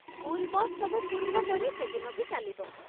School bus ସବୁ ପୂର୍ବପରି ସେଦିନ ବି ଚାଲିବ।